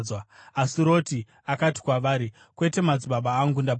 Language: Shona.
Asi Roti akati kwavari, “Kwete, madzibaba angu, ndapota!